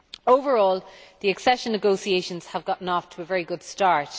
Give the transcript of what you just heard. Overall, the accession negotiations have got off to a very good start.